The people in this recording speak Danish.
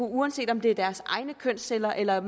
af uanset om det er deres egne kønsceller eller der